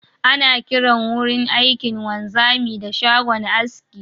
Ana kiran wurin aikin wanzami da shagon aski